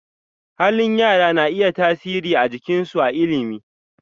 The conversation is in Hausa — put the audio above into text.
Halin yara na iya tasiri a aikinsu a ilimi.